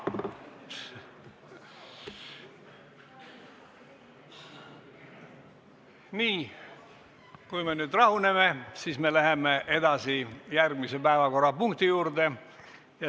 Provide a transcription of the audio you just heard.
Nii, kui me nüüd rahunenud oleme, siis läheme edasi järgmise päevakorrapunkti juurde.